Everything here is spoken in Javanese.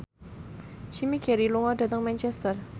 Jim Carey lunga dhateng Manchester